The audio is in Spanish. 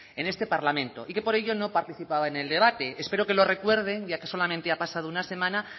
en este parlamento y que por ello no participaba en el debate espero que lo recuerde ya que solamente ha pasado una semana